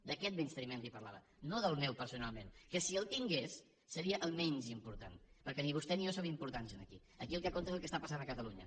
d’aquest menysteniment li parlava no del meu personalment que si el tingués seria el menys important perquè ni vostè ni jo som importants aquí aquí el que compta és el que està passant a catalunya